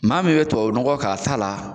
Maa min bɛ tɔbabu. nɔgɔ k'a ta la.